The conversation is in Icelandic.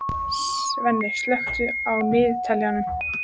Svenni, slökktu á niðurteljaranum.